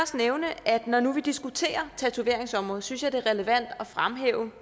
nævne at når nu vi diskuterer tatoveringsområdet synes jeg det er relevant at fremhæve